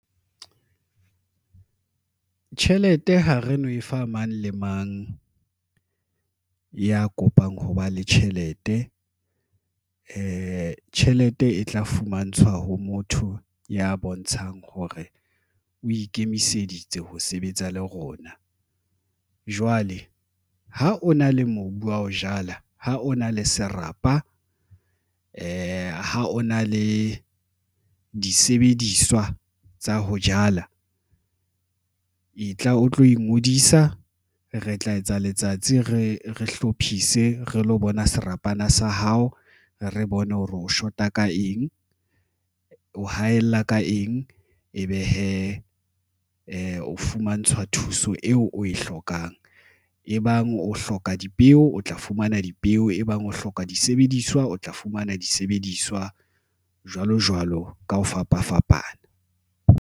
Tjhelete, ha re no e fa mang le mang ya kopang ho ba le tjhelete. Tjhelete e tla fumantshwa ho motho ya bontshang hore o ikemiseditse ho sebetsa le rona. Jwale ha o na le mobu wa ho jala, ha o na le serapa, ha o na le disebediswa tsa ho jala, e tla o tlo ingodisa. Re tla etsa letsatsi, re hlophise, re lo bona serapana sa hao, re bone hore o shota ka eng, o haella ka eng. Ebe hee o fumantshwa thuso eo o e hlokang? E bang o hloka dipeo, o tla fumana dipeo e bang o hloka disebediswa, o tla fumana disebediswa jwalo jwalo ka ho fapafapana.